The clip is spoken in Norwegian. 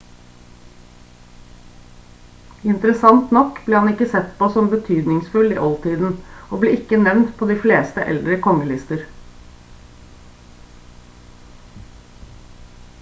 interessant nok ble han ikke sett på som betydningsfull i oldtiden og ble ikke nevnt på de fleste eldre kongelister